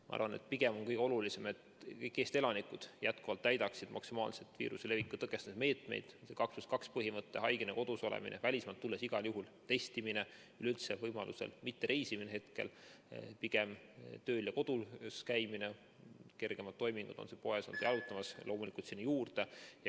Ma arvan, et pigem on kõige olulisem, et kõik Eesti elanikud jätkuvalt täidaksid maksimaalselt viiruse leviku tõkestamise meetmeid: 2 + 2 põhimõte, haigena kodus olemine, välismaalt tulles igal juhul testimine, üleüldse võimaluse korral mittereisimine, pigem tööl ja kodus käimine, kergemad toimingud, on see poes või jalutamas käik, loomulikult sinna juurde.